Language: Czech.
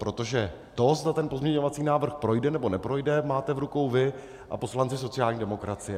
Protože to, zda ten pozměňovací návrh projde, nebo neprojde, máte v rukou vy a poslanci sociální demokracie.